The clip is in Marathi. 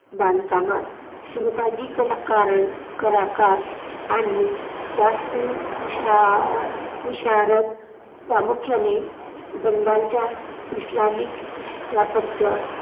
बांधकामात सहभागी कलाकारां~ कलाकार आणि वास्तुविशा~ विशारद प्रामुख्याने बंगालच्या इस्लामिक स्थापत्य